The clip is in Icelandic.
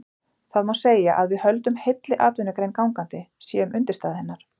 Það má segja að við höldum heilli atvinnugrein gangandi, séum undirstaða hennar.